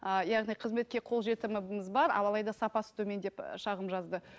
ы яғни қызметке қол жетіміміз бар ал алайда сапасы төмен деп шағым жазды